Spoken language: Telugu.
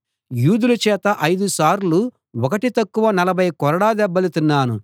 యూదుల చేత ఐదు సార్లు ఒకటి తక్కువ నలభై కొరడా దెబ్బలు తిన్నాను